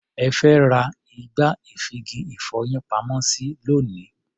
Ẹ fẹ́ ra igbá-ìfigi-ìfọyín-pamọ́-sí lónìí.